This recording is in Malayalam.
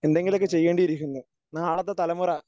എന്തെങ്കിലുമൊക്കെ ചെയ്യേണ്ടിയിരിക്കുന്നു. നാളത്തെ തലമുറ